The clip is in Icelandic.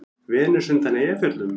Venus undan Eyjafjöllum?